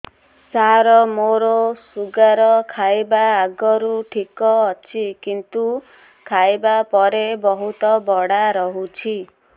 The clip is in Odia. ସାର ମୋର ଶୁଗାର ଖାଇବା ଆଗରୁ ଠିକ ଅଛି କିନ୍ତୁ ଖାଇବା ପରେ ବହୁତ ବଢ଼ା ରହୁଛି